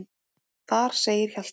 Þar segir Hjalti